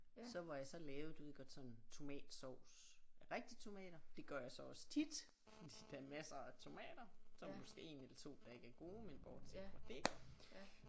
Så hvor jeg så lavede du ved godt sådan tomatsovs af rigtige tomater det gør jeg så også tit fordi der er masser af tomater som måske 1 eller 2 der ikke er gode men bortset fra det